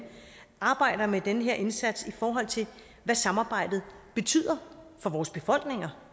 arbejder med den her indsats i forhold til hvad samarbejdet betyder for vores befolkninger